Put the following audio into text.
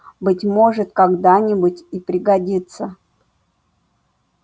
быть может когда-нибудь и пригодится